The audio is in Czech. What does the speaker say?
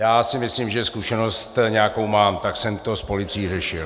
Já si myslím, že zkušenost nějakou mám, tak jsem to s policií řešil.